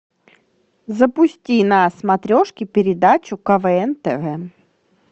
запусти на смотрешке передачу квн тв